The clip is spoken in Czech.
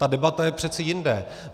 Ta debata je přece jinde.